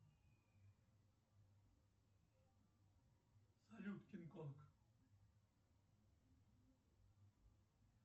салют кинг конг